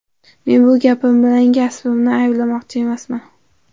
Men bu gapim bilan hamkasbimni ayblamoqchi emasman.